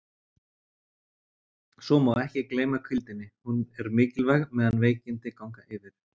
Svo má ekki gleyma hvíldinni, hún er mikilvæg meðan veikindi ganga yfir.